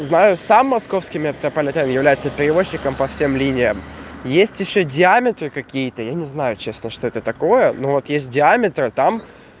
знаю сам московский метрополитен является перевозчиком по всем линиям есть ещё диаметры какие-то я не знаю честно что это такое ну вот есть диаметры там